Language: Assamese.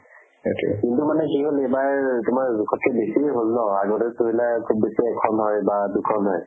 সেইটোয়ে। কিন্তু মানে কি হল এইবাৰ তোমাৰ লগাত্কে বেছিয়ে হল ন, আগতে ধৰি লোৱা খুব বেছি এখন হয় বা দুখন হয়